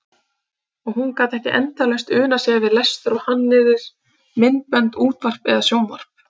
Og hún gat ekki endalaust unað sér við lestur og hannyrðir, myndbönd, útvarp eða sjónvarp.